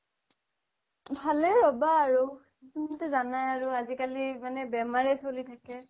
ভালেই ৰবা আৰু তুমি তো জানাই আৰু আজিকালি মানে বেমাৰয়ে চ্লি থাকে